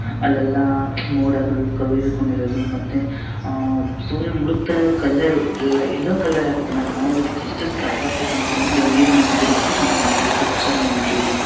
ಅಲ್ಲೆಲ್ಲ ಮೋಡಗಳು ಕವಿದುಕೊಂಡಿರುದು ಮತ್ತೆ ಸೂರ್ಯ ಮುಳುಗ್ತಾರೀರುದು ಕಲರ್ ಯಲ್ಲೋ ಕಲರ್ ಆಗಿತ್ತಲ್ಲ ನೋಡೋದಕ್ಕೆ ಎಷ್ಟು ಸಕತ್ ಆಗಿ ಕಾಣಿಸುತ್ತೆ ಸೂಪರ್ ಆಗಿದೆ .]